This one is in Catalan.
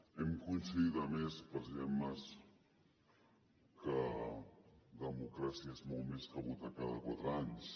hem coincidit a més president mas que democràcia és molt més que votar cada quatre anys